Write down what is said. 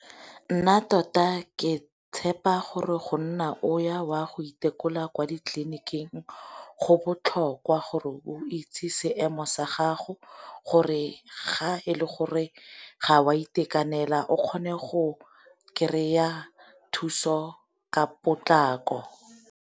Nna tota ke tshepa gore go nna o ya o a go itekola kwa di tleliniking go botlhokwa, gore o itse seemo sa gago gore ga e le gore ga o a itekanela o kgone go kry-a thuso ka potlako.